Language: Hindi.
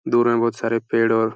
दूर में बहुत सारे पेड़ और --